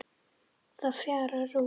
Það fjarar út.